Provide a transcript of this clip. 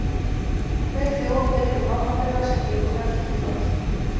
Hver þjóð velur fánabera sem gengur fremstur í flokki.